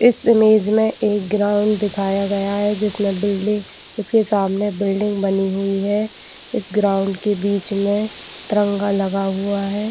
इस इमेज में एक ग्राउंड दिखाया गया है जिसमे बिल्डिंग जिसके सामने बिल्डिंग बनी हुई है इस ग्राउंड के बिच में तिरंगा लगा हुआ है।